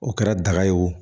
O kɛra daga ye wo